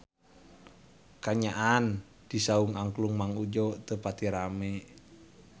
Kaayaan di Saung Angklung Mang Udjo teu pati rame